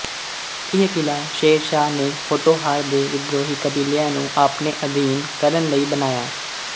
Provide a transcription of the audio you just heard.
ਇਹ ਕਿਲ੍ਹਾ ਸ਼ੇਰ ਸ਼ਾਹ ਨੇ ਪੋਠੋਹਾਰ ਦੇ ਵਿਦਰੋਹੀ ਕਬੀਲਿਆਂ ਨੂੰ ਆਪਣੇ ਅਧੀਨ ਕਰਨ ਲਈ ਬਣਾਇਆ